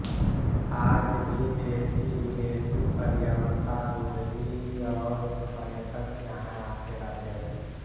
आज भी देशीविदेशी पर्वतारोही और पर्यटक यहाँ आते रहते हैं